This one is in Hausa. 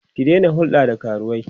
ki Daina hulɗa da karuwai!